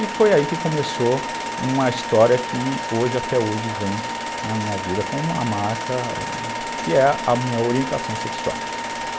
E foi aí que começou uma história que hoje, até hoje vem na minha vida como uma marca, que é a minha orientação sexual.